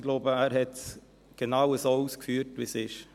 Er hat es genau so ausgeführt, wie es ist.